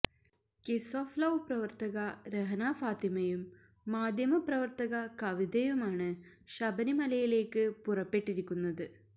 kiss of love പ്രവര്ത്തക രഹ്നാ ഫാത്തിമയേയും മാധ്യമ പ്രവര്ത്തക കവിതയുമാണ് ശബരിമലയിലേക്ക് പുറപ്പെട്ടിരിക്കുന്നത്